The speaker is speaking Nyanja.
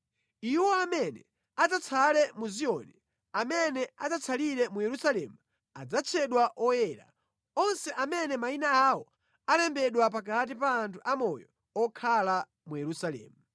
Iwo amene adzatsale mu Ziyoni, amene adzatsalire mu Yerusalemu, adzatchedwa oyera, onse amene mayina awo alembedwa pakati pa anthu amoyo okhala mu Yerusalemu.